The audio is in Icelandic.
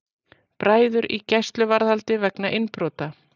Bræður í gæsluvarðhald vegna innbrota